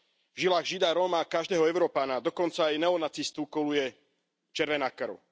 V žilách Žida, Róma a každého Európana, dokonca aj neonacistu, koluje červená krv.